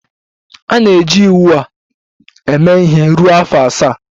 A na-eji iwu a eme ihe ruo afọ asaa.